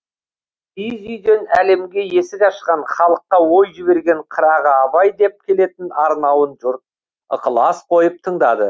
киіз үйден әлемге есік ашқан халыққа ой жіберген қырағы абай деп келетін арнауын жұрт ықылас қойып тыңдады